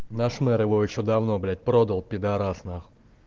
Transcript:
наш мэр его ещё давно блять продал пидарас нахуй